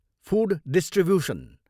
Food distribution.